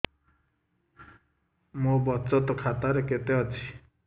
ମୋ ବଚତ ଖାତା ରେ କେତେ ଅଛି